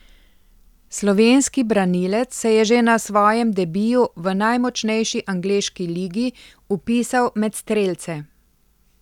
Slovenski branilec se je že na svojem debiju v najmočnejši angleški ligi vpisal med strelce.